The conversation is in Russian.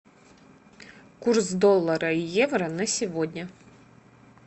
курс доллара и евро на сегодня